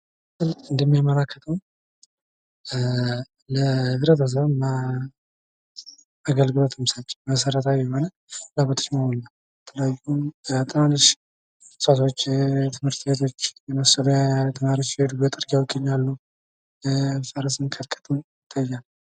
በምስሉ እንደምንመለከተው ለህብረተሰቡ አገልግሎት መሠረታዊ ፍላጎቶች የሆነ እንስሳቶች ትምህርት ቤቶች መጠለያ ተማሪዎች የሚሄዱበት መንገድ ተገንብቶ ይታያል።